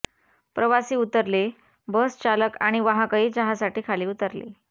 प्रवासी उतरले बस चालक आणि वाहकही चहासाठी खाली उतरले